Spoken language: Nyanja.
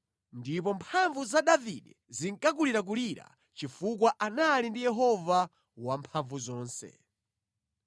Ndipo mphamvu za Davide zinkakulirakulira chifukwa anali ndi Yehova Wamphamvuzonse.